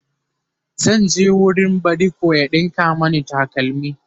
zan je wurin badiko ya ɗinka Mani takalmi